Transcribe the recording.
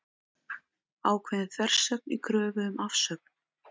Ákveðin þversögn í kröfu um afsögn